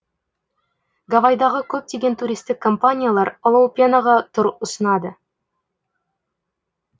гавайдағы көптеген туристік компаниялар олоупенаға тұр ұсынады